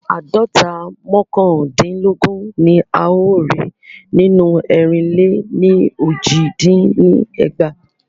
Àádọ́ta mọ́kàndinlogun ni a o rí nínú erinle ni oji dín ní ẹgbàá.